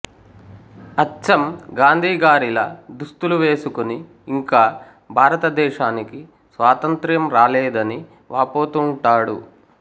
అచ్చం గాంధీగారిలా దుస్తులు వేసుకుని ఇంకా భారతదేశానికి స్వాతంత్ర్యం రాలేదని వాపోతూవుంటాడు